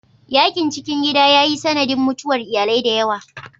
Yakin cikin gida ya yi sanadin mutuwar iyalai da yawa.